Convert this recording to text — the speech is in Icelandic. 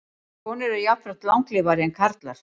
Konur eru jafnframt langlífari en karlar.